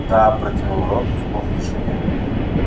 да-а протянул рон в полной тишине